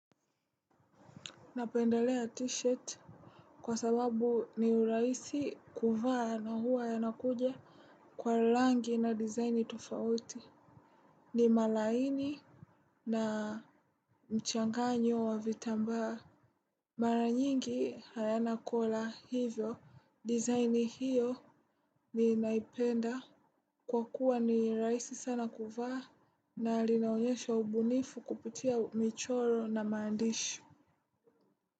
Napendelea tishat kwa sababu ni uraisi kuvaa na huwa yanakuja kwa rangi na dizaini tufauti. Ni malaini na mchanganyo wa vitambaa. Mara nyingi hayana kola hivyo, dizaini hiyo ninaipenda. Kwa kuwa ni rahisi sana kuvaa na linaonyesha ubunifu kupitia michoro na maandishi.